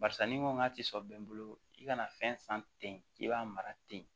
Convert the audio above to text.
Barisa ni n ko k'a ti sɔn bi i kana fɛn san ten k'i b'a mara ten